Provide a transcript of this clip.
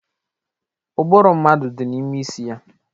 Ụbụrụ mmadụ dị n'ime isi ya.